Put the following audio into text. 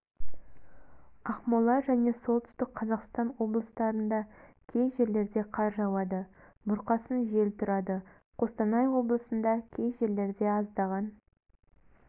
ақмола және солтүстік қазақстан облыстарында кей жерлерде қар жауады бұрқасын жел тұрады қостанай облысында кей жерлерде аздаған